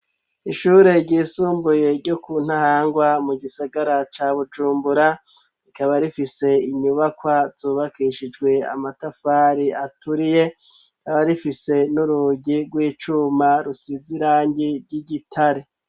Ishure ryisumbuye, ryo ku Ntahangwa, mu gisigara ca Bujumbura; rikaba rifise inyubakwa, zubakishijwe amatafari aturiye, rikaba rifise, n'urugi rw'icuma, rusize irangi ry'igitare.